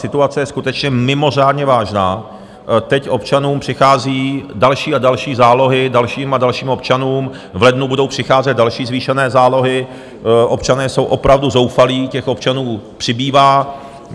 Situace je skutečně mimořádně vážná, teď občanům přichází další a další zálohy, dalším a dalším občanům v lednu budou přicházet další zvýšené zálohy, občané jsou opravdu zoufalí, těch občanů přibývá.